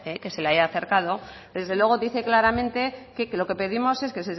que se le ha acercado desde luego dice claramente que lo que pedimos es que